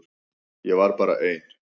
Ég var bara ein.